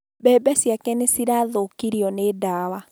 Mbebe ciake nĩ cirathũkirio nĩ dawa